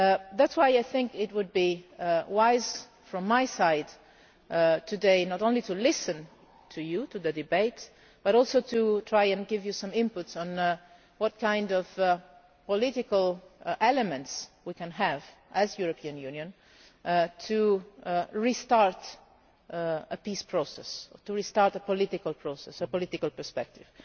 That is why I think it would be wise from my side today not only to listen to you in the debate, but also to try to give you some input on what kind of political elements we can have, as the European Union, to restart a peace process, to restart a political process a political perspective.